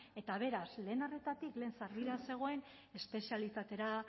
eta beraz lehen arretatik lehen sarbidea zegoen espezialitatera